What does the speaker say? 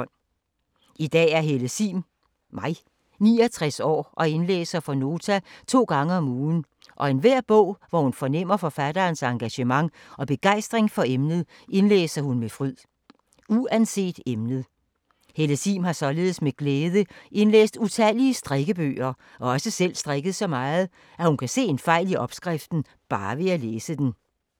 I dag er Helle Sihm 69 år og indlæser for Nota to gange om ugen og enhver bog hvor hun fornemmer forfatterens engagement og begejstring for emnet, indlæser hun med fryd. Uanset emnet. Helle Sihm har således, med glæde, indlæst utallige strikkebøger og har også selv strikket så meget, at hun kan se en fejl i opskriften, bare ved at læse den.